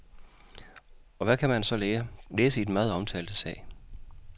Og hvad kan man så læse i den meget omtalte sag.